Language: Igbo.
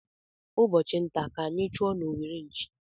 Ụbọchị ntá ka anyị chụọ n'owere nchì.